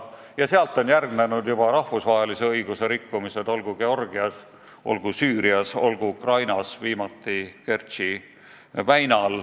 Ja sellele on järgnenud juba rahvusvahelise õiguse rikkumised Georgias, Süürias, Ukrainas ja viimati Kertši väinas.